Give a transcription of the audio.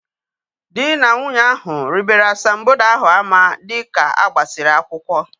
Dị na nwunye ahu ribere asambodo ahu ama dịka agbasiri akwụkwọ